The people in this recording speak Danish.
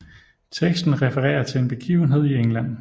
Teksten refererer til en begivenhed i England